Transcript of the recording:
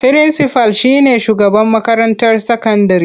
Firinsifal shi ne shugaban makarantar sakandire.